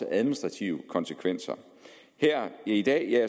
administrative konsekvenser her i dag er